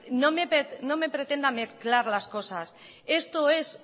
no me pretenda mezclar las cosas esto es